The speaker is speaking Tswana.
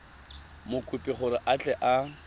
mokopi gore a tle a